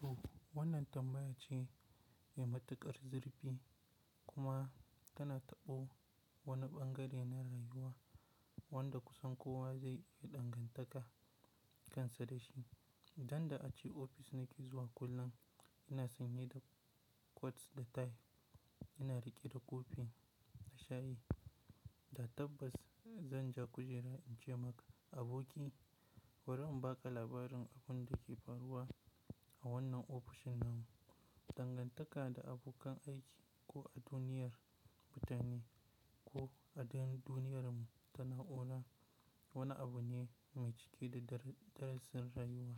To wannan tambaya ce mai matuƙar zurfi kuma tana taɓo wani bangare na rayuwa wanda kusan kowa zai iya dangantaka kansa da shi. Dan da ace ofis nake zuwa kullum ina sanye da coats da tie, ina riƙe da coffee na shayi da tabbas zan ja kujera in ce maka aboki bari in baƙa labarin abun da ke faruwa a wannan ofishin namu. Dangantaka da abokan aiki ko a duniyar mutane ko a duniyar mu tana ona wani abu ne mai cike da darasin rayuwa,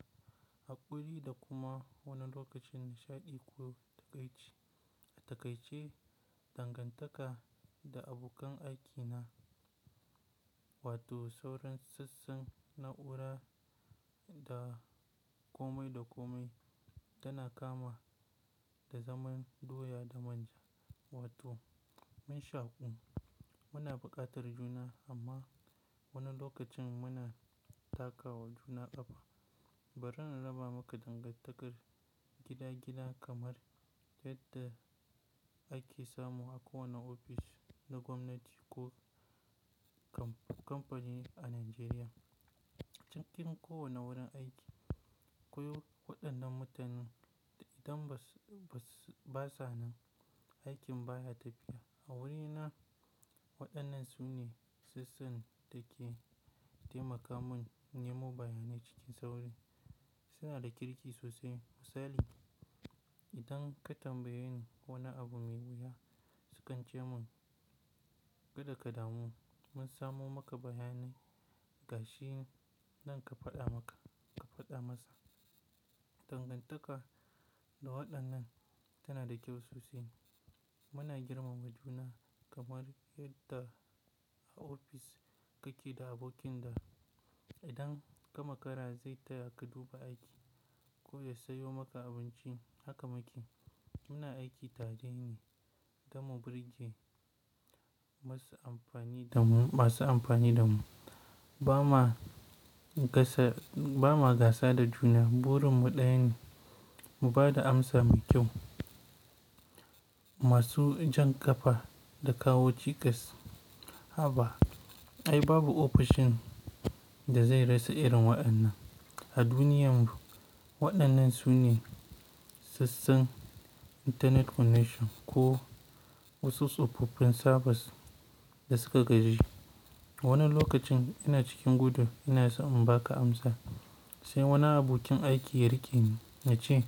haƙuri da kuma wani lokacin nishaɗi ko takaici. Takaice dangantaka da abokan aikina wato sauran sassan na'ura da komai da komai tana kama da zaman doya da manja wato man shaƙum. Muna buƙatar juna amma wani lokacin muna takawa juna ƙafa. Bari na raba maka dangantakar gida gida kamar yadda ake samu a kowane ofis na gwamnati ko kamfani a Najeriya. Cikin kowane wurin aiki akwai waɗannan mutanen idan ba sa nan aikin baya tafiya. A wurina waɗannan su ne sassan da ke taimaka mun nemo bayanai cikin sauri. Su na da kirki sosai misali idan ka tambaye ni wani abu mai wuya sukan ce mun "Kada ka damu mun samo maka bayanai gashi nan ka faɗa masa." Dangantaka da waɗannan tana da kyau sosai. Muna girmama juna kamar yadda a ofis kake da abokin da idan ka makara zai taya ka duba aiki ko ya sayo maka abinci haka makiyi. Muna aiki tare ne damu birji masu amfani da mu, ba ma ba ma gasa da juna burin mu ɗaya ne mu bada amsa mai kyau masu jan ƙafa da kawo tikas. Haba ai babu ofishin da zai rasa irin waɗannan. A duniyarmu waɗannan su ne sassan internet connection ko wasu tsofaffin servers da suka gaji. Wani lokacin ina cikin gudu ina son in baƙa amsa sai wani abokin aiki ya riƙe ni na ce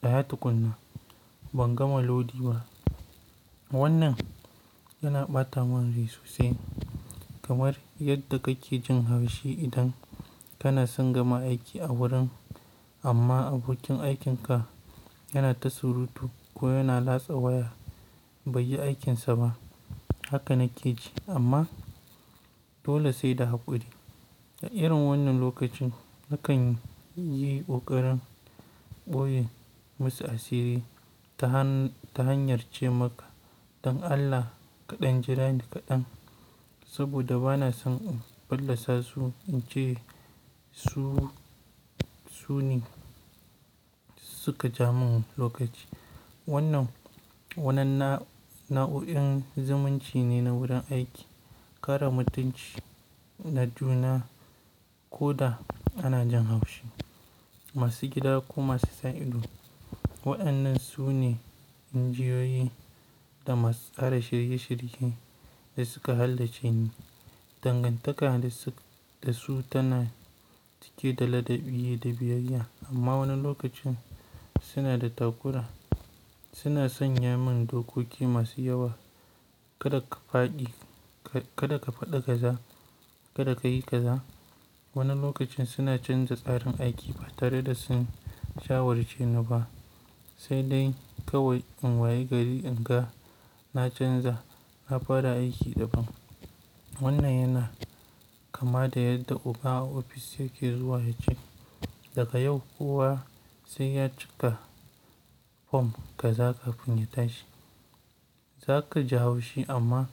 "Tsaya tukuna ban gama lodi ba." Wannan yana ɓata mun rai sosai kamar yadda kake jin haushi idan kana son gama aiki a wurin amma abokin aikinka yana ta surutu ko yana latsa waya bai yi aikinsa ba. Haka na ke ji amma dole sai da haƙuri. A irin wannan lokacin na kan yi ƙoƙarin ɓoye masu asiri ta hanyar ce maka "Dan Allah kaɗan jira ni kaɗan saboda bana son in ballasa su in ce suu su ne suka ja min lokaci." Wannan na'u'in zumunci ne na wurin aiki. Kare mutunci na juna ko da ana jan haushi. Masu gida ko masu sa ido waɗannan su ne injiyoyi da masu tsara shirye shirye da suka halarci ni. Dangantaka da su tana cike da ladabi da biyayya amma wani lokacin suna da takura. Suna sanya mun dokoki masu yawa, kada ka fa kada ka faɗi kaza kada ka yi kaza. Wani lokacin suna canza tsarin aiki ba tare da sun shawarce ni ba sai dai kawai in waye gari in ga na canza na fara aiki daban. Wannan yana kama da yadda oga a ofis yake zuwa ya ce "Daga yau kowa sai ya cika form kaza kafin mu tashi." Zaka ji haushi amma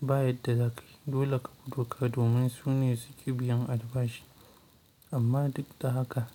ba yadda za ka yi dole ka bi doka domin su ne suke biyan albashi amma duk da haka.